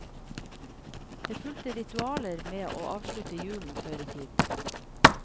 Det fulgte ritualer med å avslutte julen før i tiden.